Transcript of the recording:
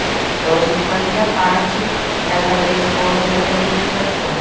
Então, a gente fazia a parte eh, da pré-escola de alfabetização.